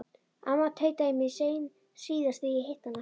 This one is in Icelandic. Amma tautaði í mér síðast þegar ég hitti hana.